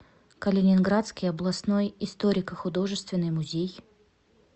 калининградский областной историко художественный музей